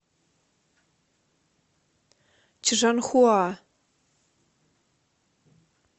чжанхуа